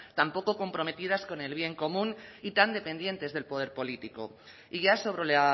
tan poco comprometidas con el bien común y tan dependientes del poder político y ya sobre la